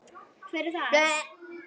Hver er það?